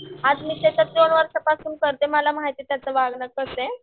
आता मी तिथं दोन वर्षांपासून करते मला माहिती आहे त्याच वागणं कसंय.